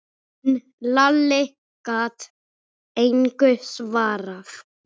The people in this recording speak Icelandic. En Lalli gat engu svarað.